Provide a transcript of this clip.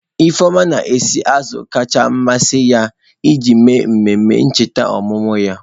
Ifeoma na-esi azụ kacha amasị ya iji mee emume ncheta ọmụmụ ya.